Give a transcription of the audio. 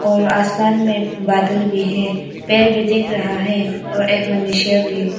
और आसमान में बादल भी है पेड़ भी देख रहा है और एक मनुष्य भी--